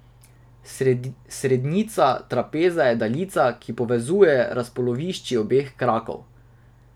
Srednjica trapeza je daljica, ki povezuje razpolovišči obeh krakov.